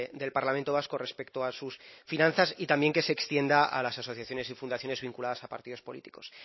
del parlamento vasco respecto a sus finanzas y también que se extienda a las asociaciones y fundaciones vinculadas a partidos políticos